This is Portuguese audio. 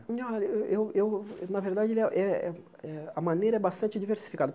eu eu na verdade, eh eh eh a maneira é bastante diversificada.